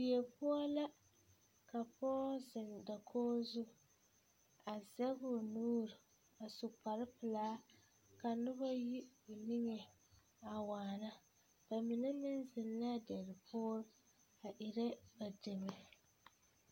Nu bonwuoree la kyɛ kaa pɔɔ kaŋa paŋ zeŋ a nubonwuoree die poɔ a nubonwuoree taa kalɛs kalɛs yaga yaga lɛ bondɔre bonbluu bongreen.